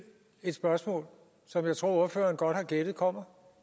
et spørgsmål som jeg tror ordføreren godt har gættet kommer